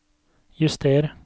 juster